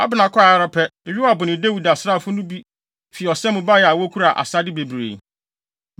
Abner kɔe ara pɛ, Yoab ne Dawid asraafo no bi fi ɔsa mu bae a wokura asade bebree.